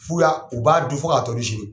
F'u y'a u b'a dun fo k'a tɔ sigi.